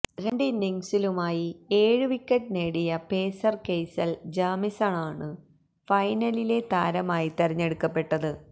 രണ്ടിന്നിങ്സിലുമായി ഏഴ് വിക്കറ്റ് നേടിയ pacer Kyle ജാമീസണാണ് ഫൈനലിലെ താരമായി തെരഞ്ഞെടുക്കപ്പെട്ടത്